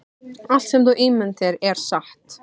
Allt sem þú ímyndar þér er satt